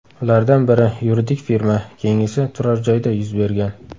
Ulardan biri yuridik firma, keyingisi turar-joyda yuz bergan.